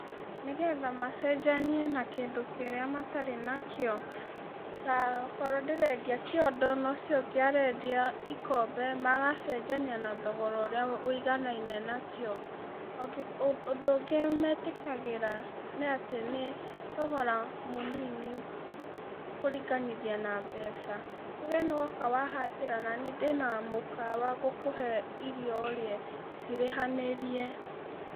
Nĩgetha macenjanie na kĩndũ kĩrĩa matarĩ nakĩo, ta okorwo ndĩrendia kĩondo, nocio ũngĩ arendia ikombe, magacenjania na thogora ũrĩa wũiganaine nakĩo okĩ ũndũ ũngĩ metĩkagĩra nĩatĩ nĩ thogora mũnini kũringithania na mbeca, tuge nĩwoka wahatĩra, nani ndĩna mũkawa ngũkũhe irio ũrĩe cirĩhanĩrie.